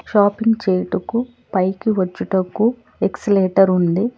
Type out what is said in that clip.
Shopping చేయుటకు పైకి వచ్చుటకు ఎక్స్లెటర్ ఉంది.